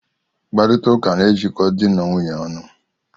Mkparita ụka na ejiko dị na nwaanyị ọnụ.